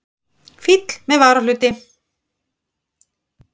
Fíll með varahluti!